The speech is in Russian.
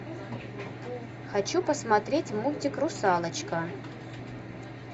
хочу посмотреть мультик русалочка